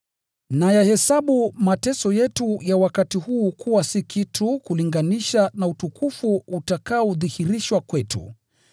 Nayahesabu mateso yetu ya wakati huu kuwa si kitu kulinganisha na utukufu utakaodhihirishwa kwetu.